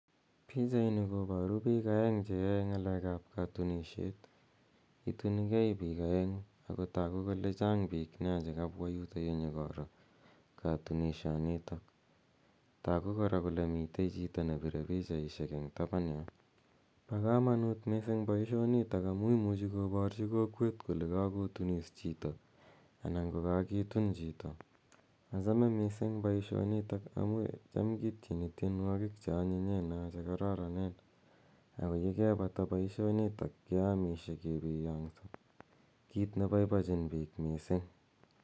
Pichaini koparu piil aeng' che yae ng'alek ap katunishet. Itunigei piik aeng'u ako tagu kole chang' piik nea che kapwa yutayu nyukoro katunishanitak. Tagu kora kole mitei chito ne pire pichaishek eng' tapan yo. Pa kamanut missing' poishonitok amu imuchi koparchi kolwet kole kakotunis chito anan ko kakitun chito. Achame missing' poishonitok amu cham kityeni tienwogik che anyinyen naa che kararanen. Ako ye kepata poishinitok keamishe kepiyang'sa, kiit ne paipachin piik missing'.